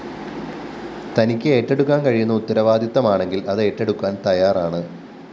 തനിക്ക് ഏറ്റെടുക്കാന്‍ കഴിയുന്ന ഉത്തരവാദിത്തമാണെങ്കില്‍ അതേറ്റെടുക്കാന്‍ തയ്യാറാണ്